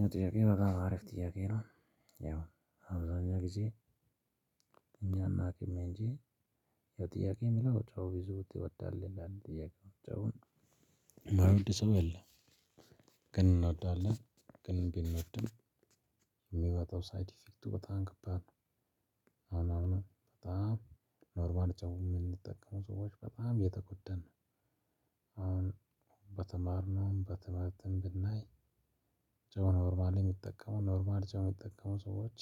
ያው ጥያቄው በጣም አሪፍ ጥያቄ ነው። ያው አብዛኛው ጊዜ። እኛ እናውቅም እንጂ። ያው ጥያቄው የሚለው ጨውን ብዙ ትወዳል ይላል። ጥያቄው ጨውን የማይወድ ሰው የለም። ግን እንወዳለን። ግን ቢኖርም የሚያመጣው ሳይድ ኢፌክቱ በጣም ከባድ ነው። አሁን አሁን በጣም ኖርማል ጨው የምንጠቀመው ሰዎች በጣም እየተጎደን ነው። አሁን በተማርነውም በትምህርትም ብናይ። ጨው ኖርማል የሚጠቀመው ኖርማል ጨው የሚጠቀመው ሰዎች